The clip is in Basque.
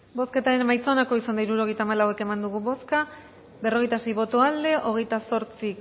bozketaren emaitza onako izan da hirurogeita hamalau eman dugu bozka berrogeita sei boto aldekoa veintiocho